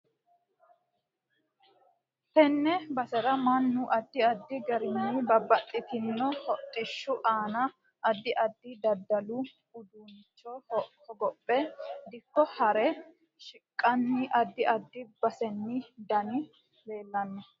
Tenne basera mannu addi addi garinni babbaxitino hodhishu aanna addi addi daddalu uduunicho hogophe dikko haare shiqqani addi addi baseni daani leelanno